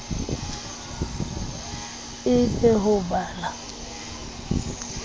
e be ho ba la